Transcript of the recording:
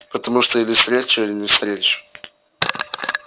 потому что или встречу или не встречу